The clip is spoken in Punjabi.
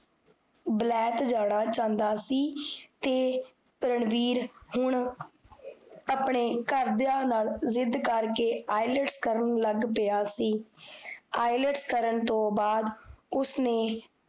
ਵਲੈਤ ਜਾਣਾ ਚਾਹੰਦਾ ਸੀ ਤੇ ਰਣਵੀਰ ਹੁਣ ਆਪਣੇ ਘਰ ਦੇਆਂ ਨਾਲ ਜ਼ਿਦ ਕਰ ਕੇ ielts ਕਰਨ ਲਾਗ ਪਿਆ ਸੀ ielts ਕਰਨ ਤੋਂ ਬਾਅਦ, ਉਸਨੇ